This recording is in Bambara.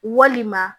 Walima